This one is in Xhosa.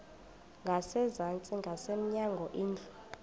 ngasezantsi ngasemnyango indlu